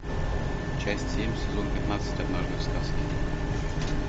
часть семь сезон пятнадцать однажды в сказке